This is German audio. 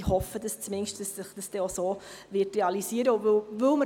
Ich hoffe zumindest, dass es sich dann auch so realisieren wird.